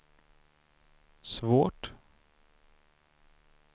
svårt